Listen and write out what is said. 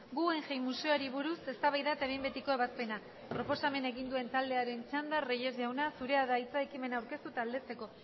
guggenheim museoari buruz eztabaida eta behin betiko ebazpena proposamena egin duen taldearen txanda reyes jauna zurea da ekimena aurkeztu eta aldezteko